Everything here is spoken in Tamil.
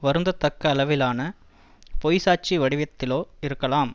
வருந்ததக்க அளவிலான பொய்ச்சாட்சி வடிவத்திலோ இருக்கலாம்